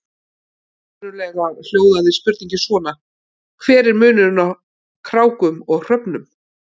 Upprunalega hljóðaði spurningin svona: Hver er munurinn á krákum og hröfnum?